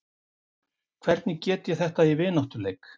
Hvernig get ég þetta í vináttuleik?